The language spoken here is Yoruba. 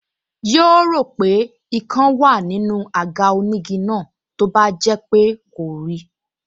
Yóò rò pé ikán wá nínú àga onígi náà tó bá jẹ́ pé kò rí i